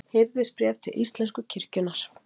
Hirðisbréf til íslensku kirkjunnar.